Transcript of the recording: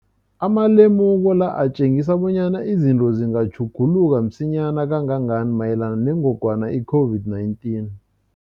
Amalemuko la atjengisa bonyana izinto zingatjhuguluka msinyana kangangani mayelana nengogwana i-COVID-19.